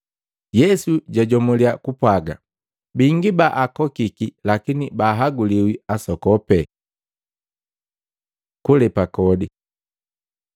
Yesu jajomuliya kupwaga, “Bingi baakokiki lakini baahaguliwi asokopi.” Kulepa kodi Maluko 12:13-17; Luka 20:20-26